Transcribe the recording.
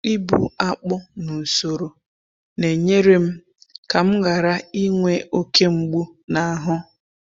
Ịbu akpụ n’usoro na-enyere m ka m ghara inwe oke mgbu n’ahụ.